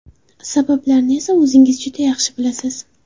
Sabablarini esa o‘zingiz juda yaxshi bilasiz.